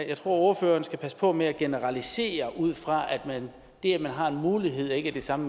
at ordføreren skal passe på med at generalisere ud fra at det at man har en mulighed ikke er det samme